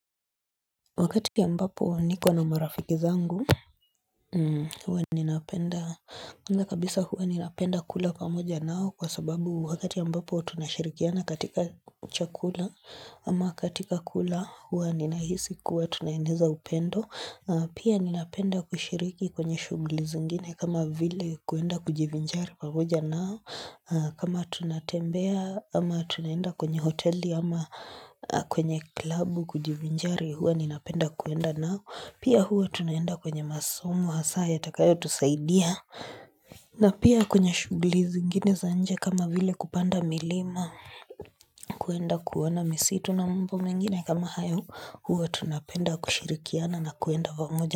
Wakati ambapo niko na marafiki zangu, huwa ninapenda kula pamoja nao kwa sababu wakati ambapo tunashirikiana katika chakula ama katika kula huwa ninahisi kuwa tunaeneza upendo. Pia ninapenda kushiriki kwenye shughuli zingine kama vile kwenda kujivinjari pamoja nao kama tunatembea ama tunaenda kwenye hoteli ama kwenye club kujivinjari huwa ninapenda kwenda nao Pia huwa tunaenda kwenye masomo hasa yatakayotusaidia na pia kwenye shughuli zingine za nje kama vile kupanda milima kwenda kuona misitu na mambo mengine kama hayo, huwa tunapenda kushirikiana na kwenda pamoja.